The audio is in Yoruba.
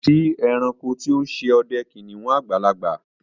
Kò sí èránkò tí ó n ṣè ọdẹ kìnnìún àgbàlagbà